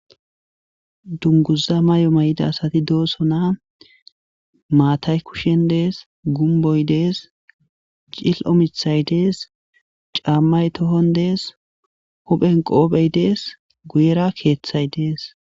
Dunguza mayo may7ida asati dooso na maatay kushen dees gumboy dees cil'omithay dees caammay tohon dees huphen qoophey dees guyera keeththay dees.